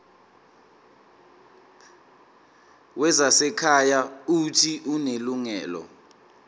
wezasekhaya uuthi unelungelo